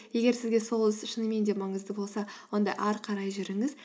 егер сізге сол іс шынымен де маңызды болса онда ары қарай жүріңіз